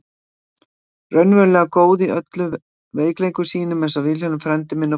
Raunverulega góð í öllum veikleikum sínum einsog Vilhjálmur frændi minn og foreldrar hans.